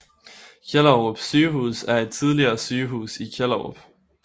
Kjellerup Sygehus er et tidligere sygehus i Kjellerup